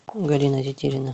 галина тетерина